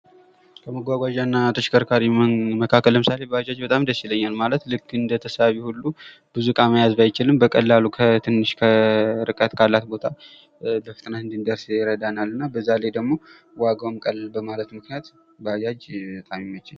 ከምጓጓዣ እና ተሽከርካሪ መካከል ለምሳሌ ባጃጅ በጣም ደስ ይለኛል። ማለት ልክ እንደ ተሳቢ ሁሉ ብዙ እቃ መያዝ ባይችልም በቀላሉ ከትንሽ ርቀት ካላት ቦታ በፍጥነት እንድንደርስ ይረዳናል። እና በዛ ላይ ደግሞ ዋጋውም ቀለል በማለቱ ምክኛት ባጃጅ በጣም ይመቻል።